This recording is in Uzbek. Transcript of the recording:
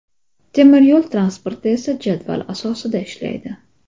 Temir yo‘l transporti esa jadval asosida ishlaydi.